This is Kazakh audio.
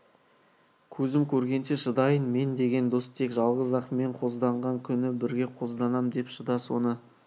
көзім көргенше шыдайын мен деген дос тек жалғыз-ақ мен қозданған күні бірге қозданам деп шыда соны